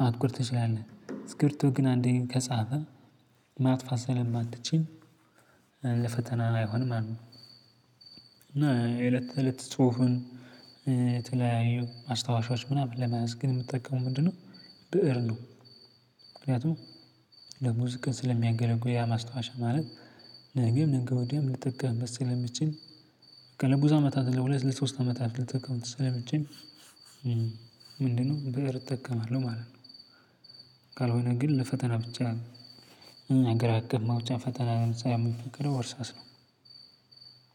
ማጥቆር ትችላለህ። እስኪብርቶ ግን አንዴ ከጻፈ ማጥፋት ስለማትችል ለፈተና አይሆንም ማለት ነው። እና የለት ተለት ጽሁፍን የተለያዩ ማስታወሻዎች ምናምን ለመያዝ ግን የምጠቀመው ምንድነው? ብእር ነው። ምክንያቱም ለብዙ ቀን ስለሚያገለግሉ ያ ማስታወሻ ማለት ነገም ነገም ወዲያም ልጠቀምበት ስለሚችል አመታት ለሁለት ለሶስት አመታት ልጠቀም ትሰለምችል። ምንድን ነው ብእር እጠቀማለሁ ማለት ነው። ካልሆነግን ለፈተና ብቻ አገርአቀፍ ፈተና ለምሳሌ የሚፈቀደው እርሳስ ነው።